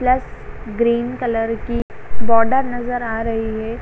plus green की border नज़र आ रही हे |